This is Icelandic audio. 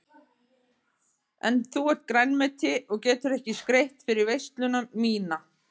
En þú ert grænmeti og getur ekki skreytt fyrir veisluna MÍNA.